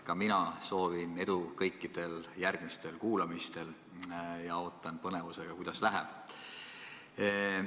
Ka mina soovin teile edu kõikidel järgmistel kuulamistel ja ootan põnevusega, kuidas läheb.